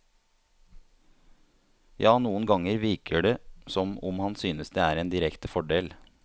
Ja, noen ganger virker det som om han synes det er en direkte fordel.